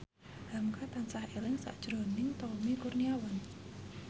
hamka tansah eling sakjroning Tommy Kurniawan